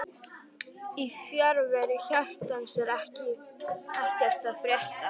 Í fjarveru hjartans er ekkert að frétta